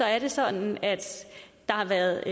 er det sådan at der har været